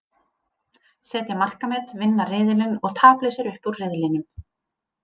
Setja markamet, vinna riðilinn og taplausir upp úr riðlinum.